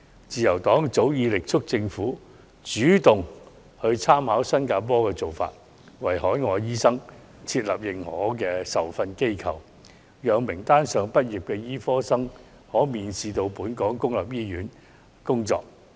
自由黨早前已力促政府主動參考新加坡的做法，為海外醫生設立認可受訓機構名單，讓名單上畢業的醫科生可免試到本港公立醫院工作。